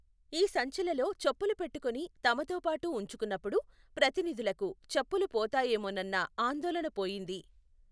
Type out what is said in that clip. ఈ సంచులలో చెప్పులు పెట్టుకొని తమతో పాటు ఉంచుకున్నప్పుడు ప్రతినిధులకు చెప్పులు పోతాయేమోనన్న ఆందోళణ పోయింది.